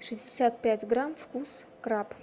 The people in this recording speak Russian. шестьдесят пять грамм вкус краб